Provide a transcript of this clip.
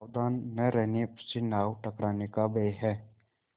सावधान न रहने से नाव टकराने का भय है